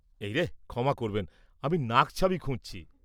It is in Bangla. এই রে, ক্ষমা করবেন, আমি নাকছাবি খুঁজছি।